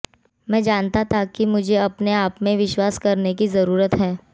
मैं जानता था कि मुझे अपने आप में विश्वास करने की जरूरत है